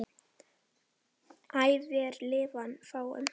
æ vér lifað fáum